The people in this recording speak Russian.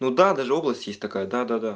ну да даже область есть такая да да да